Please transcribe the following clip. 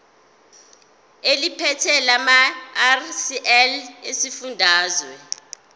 eliphethe lamarcl esifundazwe